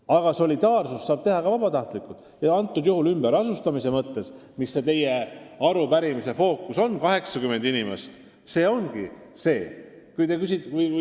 Aga solidaarsust saab osutada ka vabatahtlikult ja ümberasustamise puhul, mis teie arupärimise fookus on, avaldubki meie solidaarsus 80 inimese vastuvõtmises.